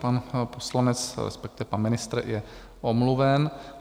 Pan poslanec, respektive pan ministr, je omluven.